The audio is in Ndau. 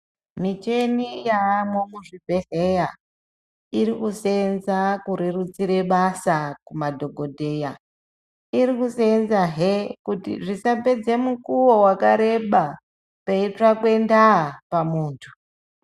Michini yaamwo muzvibhedhlera iri kuseenza kurerutsira basa kumadhokodheya , irikuseenza hee kuti zvisapedza mukuwo wakareba peitsvakwe ndaa pamuntu.